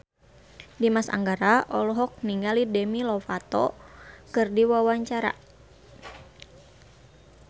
Dimas Anggara olohok ningali Demi Lovato keur diwawancara